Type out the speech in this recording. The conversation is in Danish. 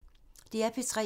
DR P3